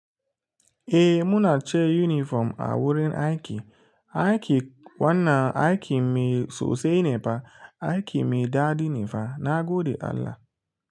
Eh muna cire uniform a wurin aiki. Aiki wannan aiki mai sosai ne ba aiki mai daɗi ne fa. Na gode Allah.